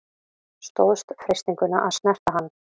Stóðst freistinguna að snerta hann